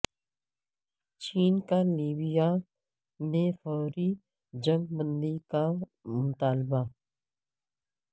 چین کا لیبیا میں فوری جنگ بندی کا مطالبہ